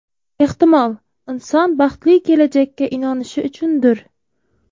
Ehtimol, inson baxtli kelajakka inonishi uchundir.